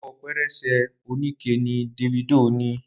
Abọ́ pẹrẹsẹ onikẹ ní Davido ní.